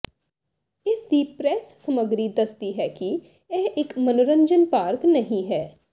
ਇਸ ਦੀ ਪ੍ਰੈੱਸ ਸਮੱਗਰੀ ਦੱਸਦੀ ਹੈ ਕਿ ਇਹ ਇਕ ਮਨੋਰੰਜਨ ਪਾਰਕ ਨਹੀਂ ਹੈ